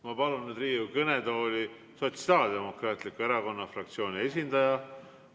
Ma palun nüüd Riigikogu kõnetooli Sotsiaaldemokraatliku Erakonna fraktsiooni esindaja.